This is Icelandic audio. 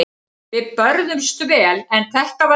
Við börðumst vel en þetta var erfitt.